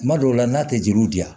Kuma dɔw la n'a tɛ jiriw di yan